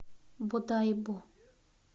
бодайбо